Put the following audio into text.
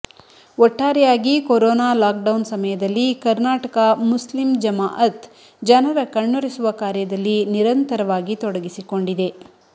ಒಟ್ಟಾರೆಯಾಗಿ corona lockdown ಸಮಯದಲ್ಲಿ Karnataka Muslim Jamaat ಜನರ ಕಣ್ಣೊರೆಸುವ ಕಾರ್ಯದಲ್ಲಿ ನಿರಂತರವಾಗಿ ತೊಡಗಿಸಿಕೊಂಡಿದೆ